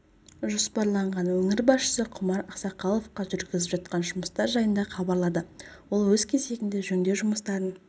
жоспарланған өңір басшысы құмар ақсақаловқа жүргізіліп жатқан жұмыстар жайында хабарлады ол өз кезегінде жөндеу жұмыстарын